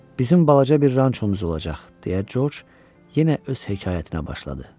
Bizim balaca bir rançomuz olacaq, deyə Corc yenə öz hekayətinə başladı.